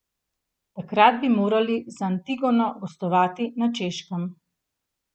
Takrat bi morali z Antigono gostovati na Češkem.